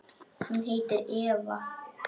Hún heitir Eva.